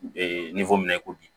ni ko min na i ko bi